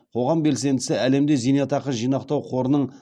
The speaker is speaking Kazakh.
қоғам белсендісі әлемде зейнетақы жинақтау қорының